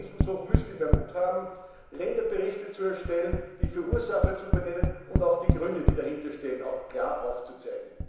Das heißt, der Rechnungshof müsste mehr Mut haben, Länderberichte zu erstellen, die Verursacher zu benennen und dann auch die Gründe, die dahinterstehen, klar aufzuzeichnen.